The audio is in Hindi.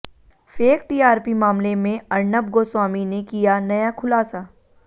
फेक टीआरपी मामले में अर्नब गोस्वामी ने किया नया खुलासा